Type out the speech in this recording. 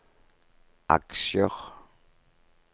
aksjer